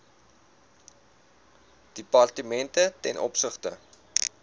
departemente ten opsigte